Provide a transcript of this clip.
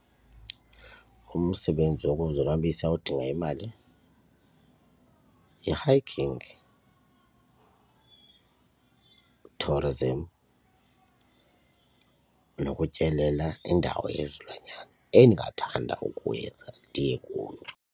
Umsebenzi wokuzonwabisa odinga imali yi-hiking, tourism nokutyelela indawo yezilwanyana endingathanda ukuyenza ndiye kuyo.